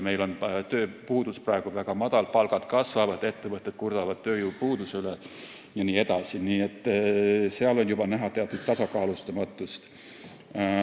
Meil on tööpuudus praegu väike, palgad kasvavad, ettevõtted kurdavad tööjõupuuduse üle jne, nii et seal on juba näha teatud tasakaalustamatust.